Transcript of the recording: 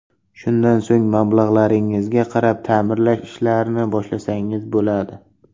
Shundan so‘ng mablag‘ingizga qarab ta’mirlash ishlarini boshlasangiz bo‘ladi.